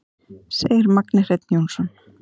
Segir Magni Hreinn Jónsson.